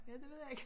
Ja det ved jeg ikke